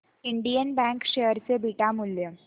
Indian bank share चे beta मूल्य